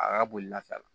A ka boli lafɛ la